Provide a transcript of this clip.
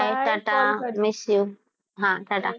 by tata call કરજે miss you હા ટાટા,